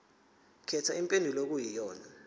khetha impendulo okuyiyona